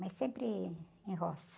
Mas sempre em roça.